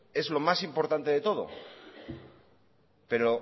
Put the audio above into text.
es lo más importante de todo pero